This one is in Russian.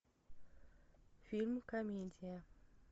фильм комедия